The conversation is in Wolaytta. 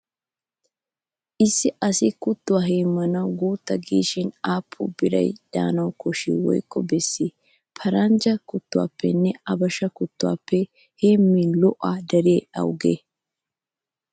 Issi asi kuttuwaa heemmanawu guutta giishin aappun biray de'anawu koshshii woykko bessii? Paranjja kuttuwaappenne abasha kuttuwaappe heemmin go"aa dariyagee awugee?